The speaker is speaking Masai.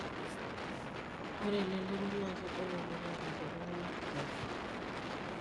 Ore elelero naa kegoli oleng aalang iltung'anak kituak.